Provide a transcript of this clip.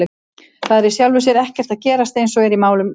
Það er í sjálfu sér ekkert að gerast eins og er í málum Gunnleifs.